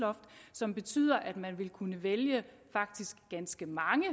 som betyder at man vil kunne vælge faktisk ganske mange